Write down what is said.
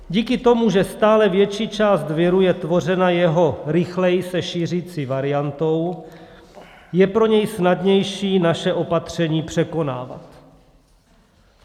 Díky tomu, že stále větší část viru je tvořena jeho rychleji se šířící variantou, je pro něj snadnější naše opatření překonávat.